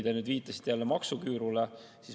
Te viitasite jälle maksuküürule.